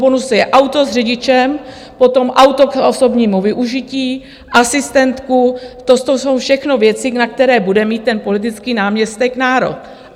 Bonusy je auto s řidičem, potom auto k osobnímu využití, asistentka, to jsou všechno věci, na které bude mít ten politický náměstek nárok.